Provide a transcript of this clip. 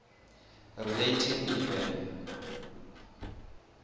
relating to the